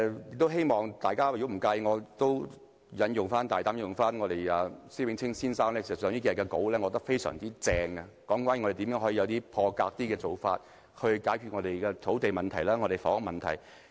如果大家不介意，我大膽引用施永青先生近數天發表的文章，我覺得他寫得非常好，那便是如何作出一些破格做法，解決我們的土地和房屋問題。